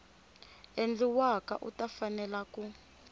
endliwaka u ta fanela ku